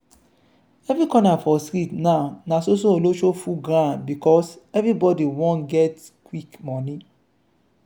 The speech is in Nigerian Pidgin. every corner for street now na so so olosho full ground because everybody wan get quick money.